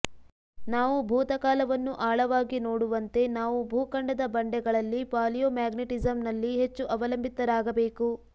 ನಾವು ಭೂತಕಾಲವನ್ನು ಆಳವಾಗಿ ನೋಡುವಂತೆ ನಾವು ಭೂಖಂಡದ ಬಂಡೆಗಳಲ್ಲಿ ಪಾಲಿಯೋಮ್ಯಾಗ್ನೆಟಿಸಮ್ನಲ್ಲಿ ಹೆಚ್ಚು ಅವಲಂಬಿತರಾಗಬೇಕು